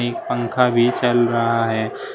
एक पंखा भी चल रहा है।